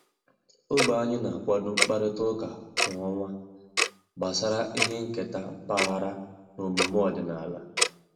Ogbe anyị na-akwado mkparịta ụka kwa ọnwa gbasara ihe nketa mpaghara na omume ọdịnala